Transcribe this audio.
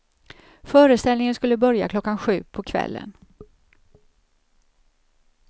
Föreställningen skulle börja klockan sju på kvällen.